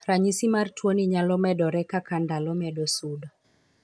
Ranyisi mar tuo ni nyalo medore kaka ndalo medo sudo.